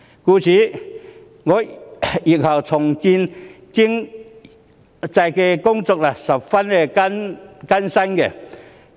故此，日後重建經濟的工作將十分艱辛。